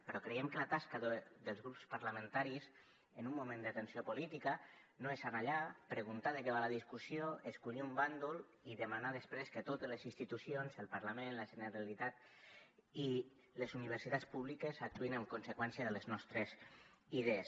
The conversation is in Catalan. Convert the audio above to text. però creiem que la tasca dels grups parlamentaris en un moment de tensió política no és anar allà preguntar de què va la discussió escollir un bàndol i demanar després que totes les institucions el parlament la generalitat i les universitats públiques actuïn en conseqüència de les nostres idees